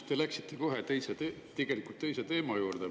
Te läksite kohe teise teema juurde.